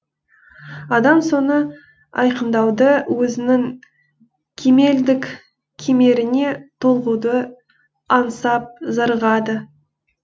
адам соны айқындауды өзінің кемелдік кемеріне толығуды аңсап зарығады